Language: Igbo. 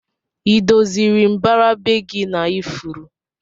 Idoziri mbara be gi na ifuru?